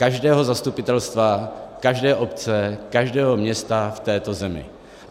Každého zastupitelstva, každé obce, každého města v této zemi.